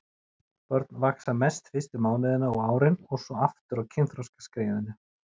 Börn vaxa mest fyrstu mánuðina og árin og svo aftur á kynþroskaskeiðinu.